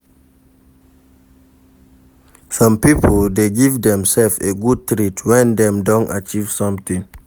Some pipo de give themselves a good treat when Dem don achieve something